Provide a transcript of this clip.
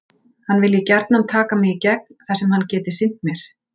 Hann vilji gjarnan taka mig í gegn þar sem hann geti sinnt mér.